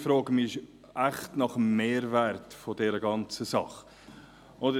Ich frage mich echt, was der Mehrwert dieser ganzen Sache ist.